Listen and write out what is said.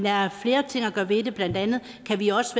er flere ting at gøre ved det blandt andet kan vi også